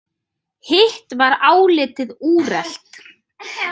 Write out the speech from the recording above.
Hitt var álitið úrelt.